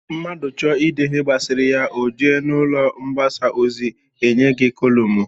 Mmadụ chọọ ịde ihe masịrị ya, o jee n'ụlọ mgbasa ozi, e nye gị kolụmụi